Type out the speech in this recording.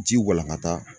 Ji walankata